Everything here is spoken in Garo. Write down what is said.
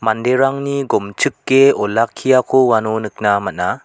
manderangni gomchike olakkiako uano nikna man·a.